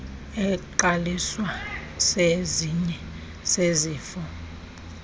eqaliswa sesinye sezifo